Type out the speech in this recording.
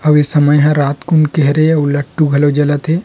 अउ ए समय ह रात कुन के हरे अउ लट्टू घलो जलत हे।